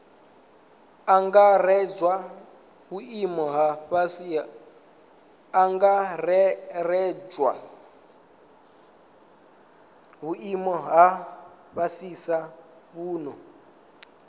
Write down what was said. angaredzwa vhuimo ha fhasisa vhune